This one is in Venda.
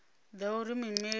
ḓa uri muimeli a vhe